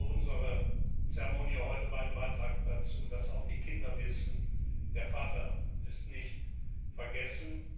Unsere Zeremonie heute war ein Beitrag dazu, dass auch die Kinder wissen Der Vater ist nicht vergessen.